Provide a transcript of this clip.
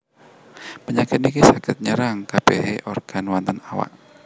Penyakit niki saged nyerang kabehane organ wonten awak